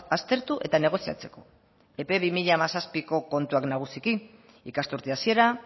aztertu eta negoziatzeko epe bi mila hamazazpiko kontuak nagusiki ikasturte hasiera